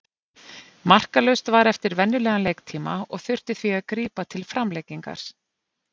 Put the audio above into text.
Markalaust var eftir venjulegan leiktíma og þurfti því að grípa til framlengingar.